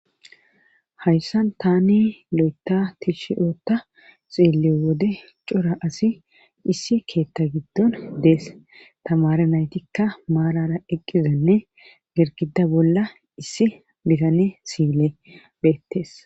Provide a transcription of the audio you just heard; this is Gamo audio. hayssan tani lo7eta tishi oota xeeliyo wode cora asi issi keetta giddon dees tamare naytikka maarara eqqizanne gergida bolla issi bitane siile beettees